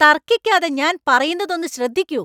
തര്‍ക്കിക്കാതെ ഞാൻ പറയുന്നത് ഒന്ന് ശ്രദ്ധിക്കൂ.